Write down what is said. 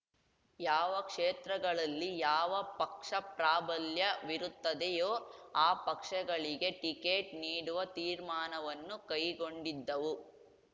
ಯಾವ ಕ್ಷೇತ್ರಗಳಲ್ಲಿ ಯಾವ ಪಕ್ಷ ಪ್ರಾಬಲ್ಯವಿರುತ್ತದೆಯೋ ಆ ಪಕ್ಷಗಳಿಗೆ ಟಿಕೇಟ್ ನೀಡುವ ತೀರ್ಮಾನವನ್ನು ಕೈಗೊಂಡಿದ್ದವು